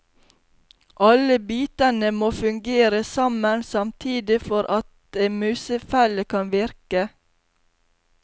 Alle bitene må fungere sammen samtidig for at en musefelle kan virke.